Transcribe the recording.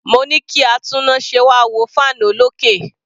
Mo ní kí atúnnáse wá wo fan olókè.